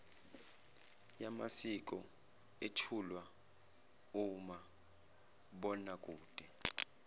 yamasiko ethulwa umabonakude